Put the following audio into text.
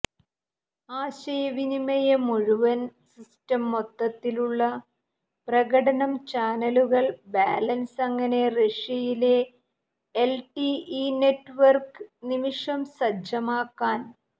ആശയവിനിമയ മുഴുവൻ സിസ്റ്റം മൊത്തത്തിലുള്ള പ്രകടനം ചാനലുകൾ ബാലൻസ് അങ്ങനെ റഷ്യയിലെ എൽടിഇ നെറ്റ്വർക്ക് നിമിഷം സജ്ജമാക്കാൻ